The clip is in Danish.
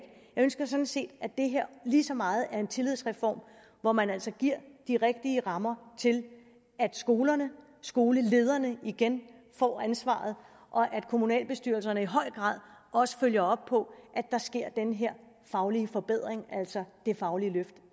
ønsker sådan set at det her lige så meget er en tillidsreform hvor man altså giver de rigtige rammer til at skolerne skolelederne igen får ansvaret og at kommunalbestyrelserne i høj grad også følger op på at der sker den her faglige forbedring altså det faglige løft